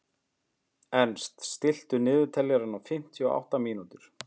Ernst, stilltu niðurteljara á fimmtíu og átta mínútur.